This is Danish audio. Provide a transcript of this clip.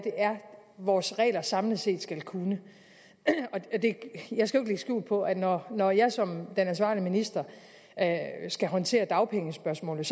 vores regler samlet set skal kunne jeg skal jo skjul på at når når jeg som ansvarlig minister skal håndtere dagpengespørgsmålet